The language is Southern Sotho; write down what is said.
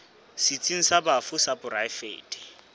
setsheng sa bafu sa poraefete